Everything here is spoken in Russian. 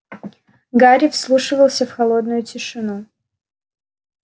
гарри вслушивался в холодную тишину